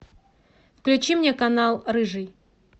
включи мне канал рыжий